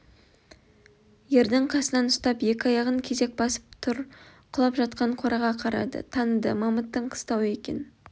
ердің қасынан ұстап екі аяғын кезек басып тұр құлап жатқан қораға қарады таныды мамыттың қыстауы екен